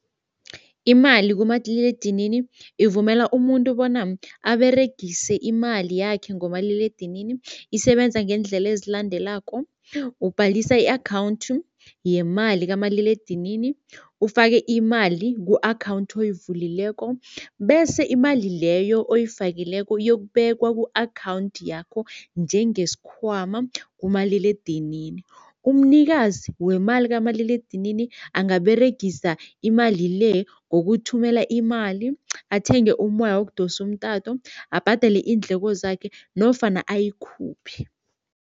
Imali kumadililedinini ivumela umuntu bona aberegise imali yakhe ngomaliledinini. Isebenza ngeendlela ezilandelako, ubhalisa i-account yemali kamaliledinini, ufake imali ku-account oyivulekileko bese imali leyo oyifakileko iyokubekwa ku-account yakho njengesikhwama kumaliledinini. Umnikazi wemali kamaliledinini angaberegisa imali le ngokuthumela imali, athenge umoya wokudosa umtato, abhadele iindleko zakhe nofana ayikhuphe.